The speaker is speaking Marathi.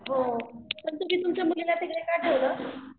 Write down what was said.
हो पण तुम्ही तुमच्या मुलीला तिकडे का ठेवलं.